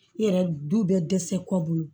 I yɛrɛ du bɛ dɛsɛ kɔ